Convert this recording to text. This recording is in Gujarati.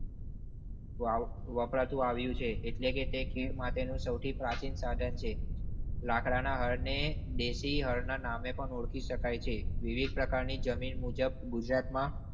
વપરાતું આવ્યું છે એટલે કે તે ખીદ માટે નું સૌ થી પ્રાચીન સાધન છે. લાકડા ના હળ ને દેસી હળ ના નામે પણ ઓળખી શકાય છે. વિવિધ પ્રકારની જમીન મુજબ ગુજરાતમાં.